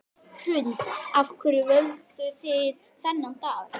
Hrund: Af hverju völduð þið þennan dag?